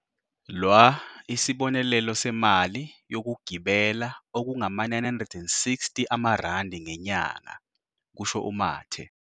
.lwa isibonelelo semali yokugibela okungama-960 amarandi ngenyanga," kusho uMathe.